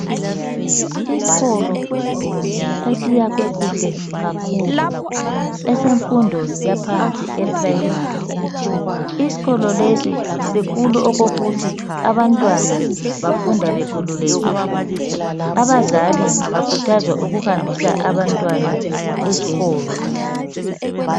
Iskolo esiyakhwe kuhle kakhulu, esemfundo yaphansi eprimary. Iskolo lesi sikhulu okokuthi abantwana bafunda bekhululekile. Abazali bakhuthazwa ukuhambisa abantwana eskolo.